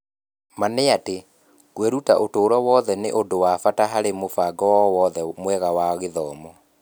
Ma nĩ atĩ, kwĩruta ũtũũro wothe nĩ ũndũ wa bata harĩ mũbango o wothe mwega wa gĩthomo.